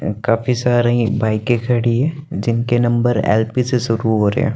काफी सारी बाईके खड़ी है जिनके नंबर एल_पी से शुरू हो रहे हैं।